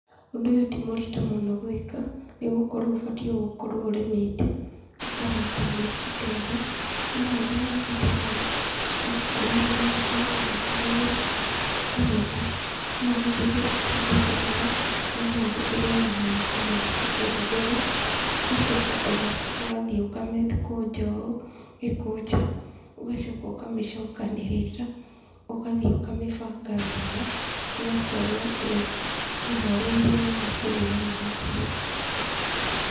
Ũndũ ũyũ ti mũritũ mũno gwĩka, nĩgũkorwo ũbatiĩ gũkorwo ũrĩmĩte, ũkahanda nyeki ta ĩno, wahanda nyeki ta ĩno rĩ, yakũra yakinya kũgethwo, ũkagetha. No ũhũthĩre itinga kũgetha, na noũhũthĩre ona moko maku kũgetha, ũgacoka ũgathiĩ ũkamĩkũnja ũũ gĩkũnja, ũgacoka ũkamĩcokanĩrĩria, ũgathiĩ ũkamĩbanga wega, ĩgakorwo ĩharĩirio wega kũrĩo nĩ mahiũ.